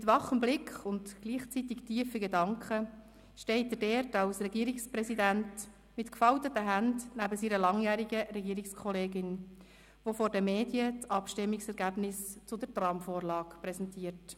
Mit wachem Blick und gleichzeitig tiefen Gedanken steht er dort als Regierungspräsident mit gefalteten Händen neben seiner langjährigen Regierungskollegin, die vor den Medien das Abstimmungsergebnis zur Tramvorlage präsentiert.